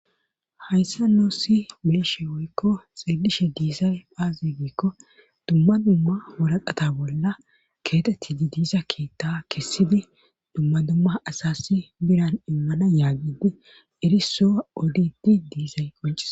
Hayssa noossi bileshe woykko xeelishe diisay phaazigiikko dumma dumma wolaqata bolla keetetti di diisa keetta kessidi dumma dumma asasi biran immana yaagidi eriso odidi diizay qoncis